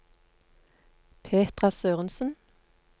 Petra Sørensen